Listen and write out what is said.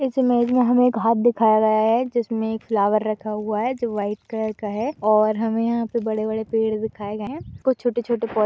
इस इमेज में हमें एक हाथ दिखाया गया हैं जिसमें फ्लावर रखा हुआ है। जो व्हाइट कलर का है और हमें यहाँ बड़े बड़े पेड़ दिखाए गए हैं। कुछ छोटे छोटे पौध --